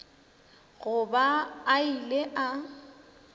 go ba a ile a